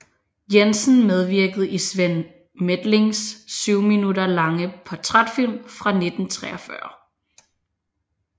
Jensen medvirkede i Svend Methlings 7 minutter lange portrætfilm fra 1943